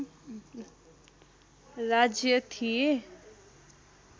राज्य थिए